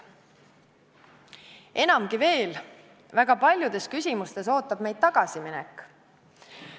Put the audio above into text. Enamgi veel, väga paljudes küsimustes ootab meid ees tagasiminek.